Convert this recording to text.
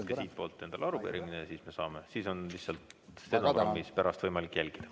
Saate endale arupärimise ja siis on stenogrammist pärast võimalik jälgida.